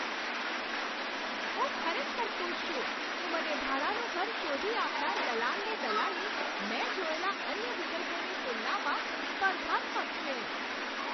હું ખરેખર ખુશ છું કે મને ભાડાનું ઘર શોધી આપનાર દલાલની દલાલી મેં જોયેલા અન્ય વિકલ્પોની તુલનામાં સ્પર્ધાત્મક છે.